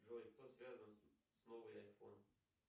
джой кто связан с новый айфон